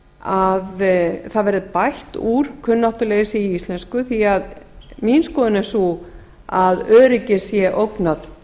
að það verði bætt úr kunnáttuleysi í íslensku því að mín skoðun er sú að öryggi sé ógnað